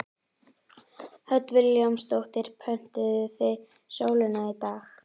Hödd Vilhjálmsdóttir: Pöntuðuð þið sólina í dag?